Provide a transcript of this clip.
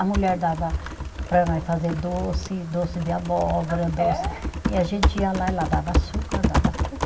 A mulher dava para nós fazer doce, doce de abóbora, doce, e a gente ia lá e ela dava açúcar, dava tudo.